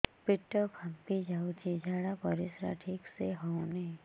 ପେଟ ଫାମ୍ପି ଯାଉଛି ଝାଡ଼ା ପରିସ୍ରା ଠିକ ସେ ହଉନି